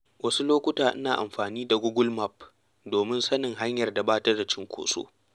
Wasu lokuta ina amfani da Google Maps domin sanin hanyar da ba ta da cunkoso.